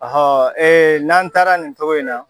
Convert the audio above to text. Ɔhɔn n'an taara nin cogo in na